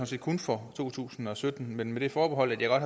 set kun for to tusind og sytten men med det forbehold at jeg